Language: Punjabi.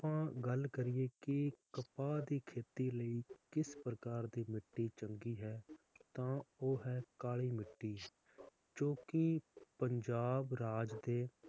ਅੱਪਾਂ ਗੱਲ ਕਰੀਏ ਕਿ ਕਪਾਹ ਦੀ ਖੇਤੀ ਲਈ ਕਿਸ ਪ੍ਰਕਾਰ ਦੀ ਮਿੱਟੀ ਚੰਗੀ ਹੈ, ਤਾ ਉਹ ਹੈ ਕਾਲੀ ਮਿੱਟੀ ਜੋ ਕਿ ਪੰਜਾਬ ਰਾਜ ਦੇ